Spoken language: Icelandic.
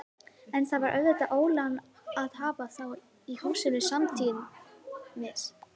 En það var auðvitað ólán að hafa þá í húsinu samtímis.